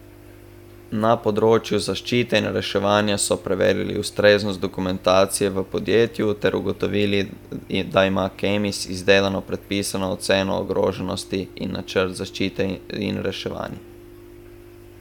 Na področju zaščite in reševanja so preverili ustreznost dokumentacije v podjetju ter ugotovili, da ima Kemis izdelano predpisano oceno ogroženosti in načrt zaščite in reševanje.